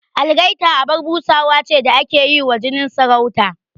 Algaita abar busa ce da ake yi wa jinin sarauta